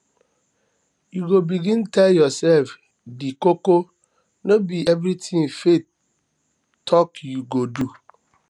you go begin dey tell yoursef di koko no be everytin faith talk you go do